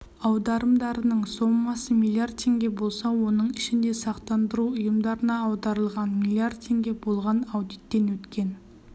аударымдарының сомасы млрд тенге болса оның ішінде сақтандыру ұйымдарына аударылғаны млрд тенге болған аудиттен өткен